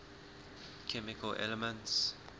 chemical elements